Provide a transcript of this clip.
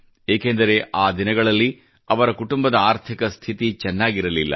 ಏಕೆಂದರೆ ಆ ದಿನಗಳಲ್ಲಿ ಅವರ ಕುಟುಂಬದ ಆರ್ಥಿಕ ಸ್ಥಿತಿ ಚೆನ್ನಾಗಿರಲಿಲ್ಲ